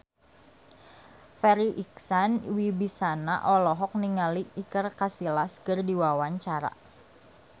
Farri Icksan Wibisana olohok ningali Iker Casillas keur diwawancara